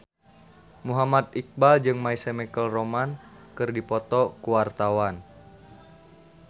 Muhammad Iqbal jeung My Chemical Romance keur dipoto ku wartawan